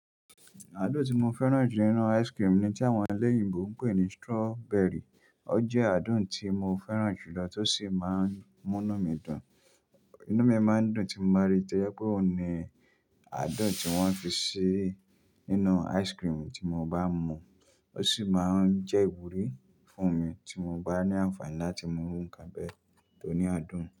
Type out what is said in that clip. Àádùn tí mo fẹ́ràn jù nínú ice cream ni tí àwọn ẹlẹ́yìnbo ń pè ní strawberry. Ọ jẹ́ àádùn tí mo fẹ́ràn jùlọ tó sì máa ń múnú mi dùn. Inú mi a máa ń dùn tí mo bá ríi tẹ́lẹ̀ pé òun ni àádùn tí wọ́n fi ṣe nínú ice cream tí mo bá mu. Ó sì máa ń jẹ́ ìwúrí fún mi tí mo bá ní àǹfààní láti mú nǹkan bẹ́ẹ̀ tó ní adùn.